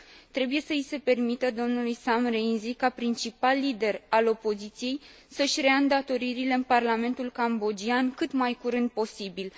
Trebuie să i se permită domnului Sam Rainsy, ca principal lider al opoziției, să și reia îndatoririle în parlamentul cambodgian cât mai curând posibil.